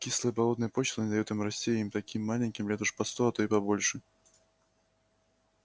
кислая болотная почва не даёт им расти и им таким маленьким лет уже по сто а то и побольше